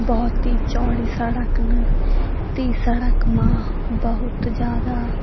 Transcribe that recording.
बहौत ही चौड़ी सड़क न ती सड़क मा बहौत जादा।